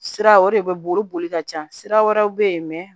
Sira o de bɛ boli boli ka ca sira wɛrɛw bɛ ye